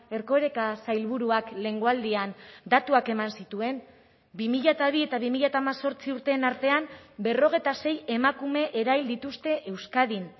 erkoreka sailburuak lehengo aldian datuak eman zituen bi mila bi eta bi mila hemezortzi urteen artean berrogeita sei emakume erahil dituzte euskadin